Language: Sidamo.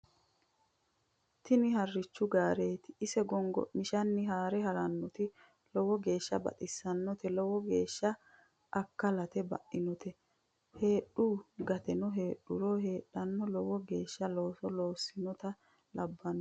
tini harichu gaareeti isi gongo'mishanni haare harannote lowo geeshsha baxissannote lowo geeshsha akkalte bainote heedhu geetino heedhuro heedhona lowo geeshsha looso loossinota labbannona